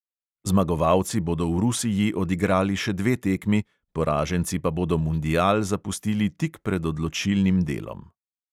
Zmagovalci bodo v rusiji odigrali še dve tekmi, poraženci pa bodo mundial zapustili tik pred odločilnim delom.